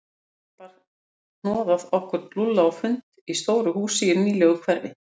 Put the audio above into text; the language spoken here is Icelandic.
Dag einn bar hnoðað okkur Lúlla á fund í stóru húsi í nýlegu hverfi.